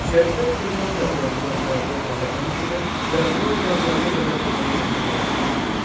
Şərqdə Xınqan dağlarından qərbdə Xəzər dənizinə və Ural dağlarına qədər olan torpaqları əhatə eləyirdi.